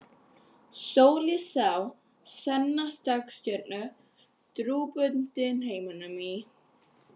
Sól ég sá, sanna dagstjörnu, drúpa dynheimum í.